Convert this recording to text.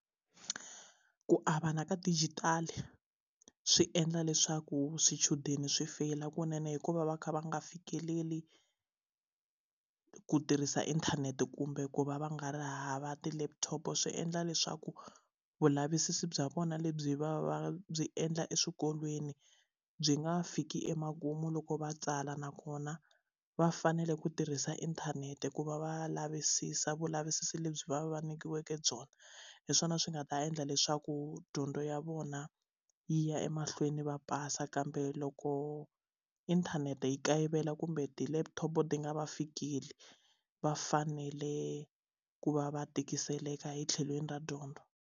Ku avana ka digital swi endla leswaku swichudeni swi feyila kunene hikuva va kha va nga fikeleli ku tirhisa inthanete kumbe ku va va nga ri hava ti laptop swi endla leswaku vulavisisi bya vona lebyi va va byi endla eswikolweni byi nga fiki emakumu loko va tsala nakona va fanele ku tirhisa inthanete ku va va lavisisa vulavisisi lebyi va va nyikiweke byona hi swona swi nga ta endla leswaku dyondzo ya vona yi ya emahlweni va pasa kambe loko inthanete yi kayivela kumbe ti laptop ti nga va fikeli va fanele ku va va tikiseleka hi tlhelweni ra dyondzo.